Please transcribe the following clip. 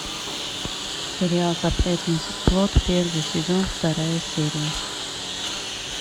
сериал запретный плод первый сезон вторая серия